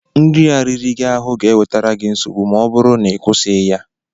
Nri a riri gị ahụ ga-ewetara gị nsogbu ma ọ bụrụ na ị kwụsịghị ya!